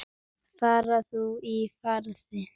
Far þú í friði.